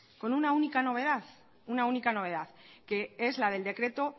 con una única novedad una única novedad que es la del decreto